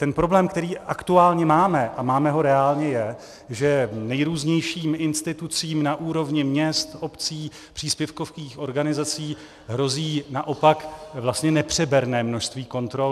Ten problém, který aktuálně máme, a máme ho reálně, je, že nejrůznějším institucím na úrovní měst, obcí, příspěvkových organizací hrozí naopak vlastně nepřeberné množství kontrol.